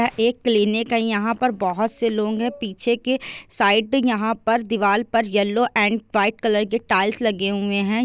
एक क्लिनिक है यहा पर बहुत से लोग है। पीछे के साइड मे दीवार पर येलो एण्ड व्हाइट कलर के टाइल्स लगे हुए हैं।